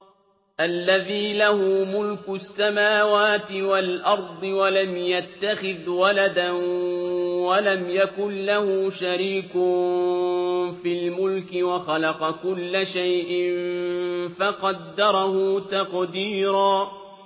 الَّذِي لَهُ مُلْكُ السَّمَاوَاتِ وَالْأَرْضِ وَلَمْ يَتَّخِذْ وَلَدًا وَلَمْ يَكُن لَّهُ شَرِيكٌ فِي الْمُلْكِ وَخَلَقَ كُلَّ شَيْءٍ فَقَدَّرَهُ تَقْدِيرًا